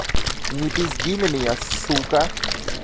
не пизди на меня сука